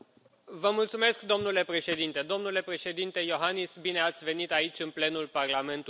Domnule Președinte, domnule Președinte Iohannis, bine ați venit aici, în plenul Parlamentului European.